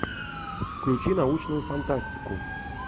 включи научную фантастику